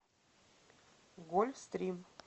гольф стрим